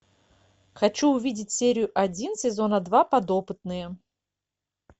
хочу увидеть серию один сезона два подопытные